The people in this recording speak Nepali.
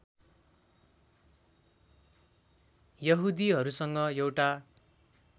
यहुदीहरूसँग एउटा